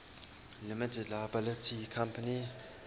limited liability company